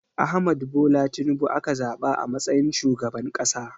Ahmad Bola Tinubu aka zaɓa a matsayin shugaban ƙasa.